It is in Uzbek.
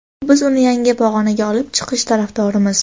biz uni yangi pog‘onaga olib chiqish tarafdorimiz.